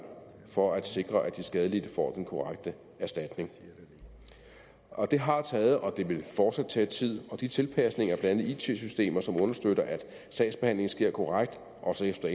for at sikre at de skadelidte får den korrekte erstatning og det har taget og det vil fortsat tage tid og de tilpasninger blandt andet af it systemer som understøtter at sagsbehandlingen sker korrekt også efter